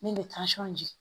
Min bɛ di